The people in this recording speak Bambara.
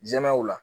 Jɛmɛw la